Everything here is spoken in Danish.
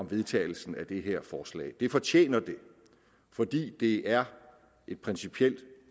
vedtagelsen af det her forslag det fortjener det fordi det er et principielt